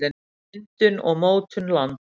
myndun og mótun lands